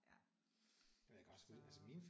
Ja så